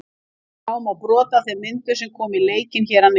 Sjá má brot af þeim myndum sem koma í leikinn hér að neðan.